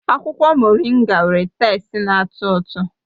Akwụkwọ Moringa nwere teste na-atọ ụtọ